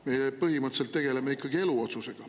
Meie põhimõtteliselt tegeleme ikkagi eluotsusega.